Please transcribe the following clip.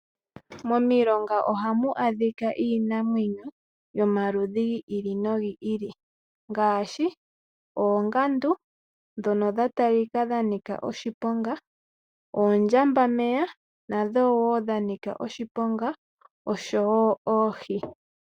Momilonga ohamu adhika iinamwenyo yomaludhi gi ili nogi ili ngaashi oongandu ndhono dha talika dha nika oshiponga, oondjambameya nadho wo dha nika oshiponga oshowo oohi.